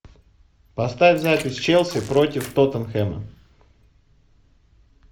поставь запись челси против тоттенхэма